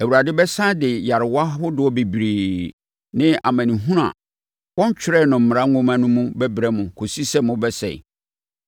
Awurade bɛsane de nyarewa ahodoɔ bebree ne amanehunu a wɔntwerɛɛ no mmara nwoma no mu bɛbrɛ mo kɔsi sɛ mobɛsɛe.